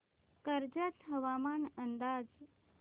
कर्जत हवामान अंदाज